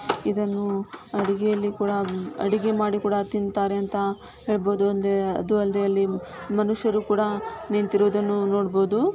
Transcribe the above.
ಇದನ್ನು ಅಡಿಗೆಯಲ್ಲಿ ಕೂಡ ಅಡಿಗೆ ಮಾಡಿ ಕೂಡ ತಿಂತಾರೆ ಅಂತ ಹೇಳ್ಬೋದು. ಅಲ್ದೆ ಅದು ಅಲ್ದೆ ಮನುಷ್ಯರು ಕೂಡ ನಿಂತಿರುವುದನ್ನು ನೋಡ್ಬೋದು.